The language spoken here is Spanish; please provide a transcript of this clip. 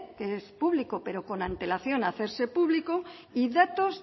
que es público pero con antelación a hacerse público y datos